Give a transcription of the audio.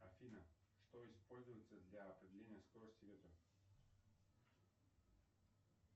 афина что используется для определения скорости ветра